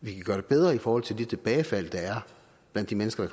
vi kan gøre det bedre i forhold til de tilbagefald der er blandt de mennesker